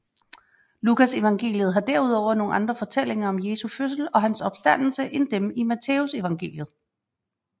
Lukasevangeliet har derudover nogle andre fortællinger om Jesu fødsel og om hans opstandelse end dem i Matthæusevangeliet